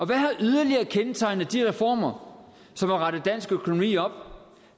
hvad har yderligere kendetegnet de reformer som har rettet dansk økonomi op